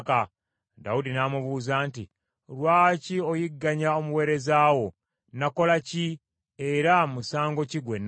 Dawudi n’amubuuza nti, “Lwaki oyigganya omuweereza wo? Nakola ki, era musango ki gwe nazza?